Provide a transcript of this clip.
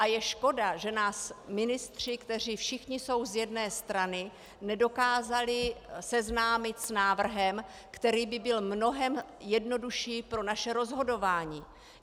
A je škoda, že nás ministři, kteří všichni jsou z jedné strany, nedokázali seznámit s návrhem, který by byl mnohem jednodušší pro naše rozhodování.